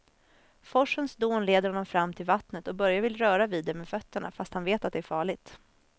Forsens dån leder honom fram till vattnet och Börje vill röra vid det med fötterna, fast han vet att det är farligt.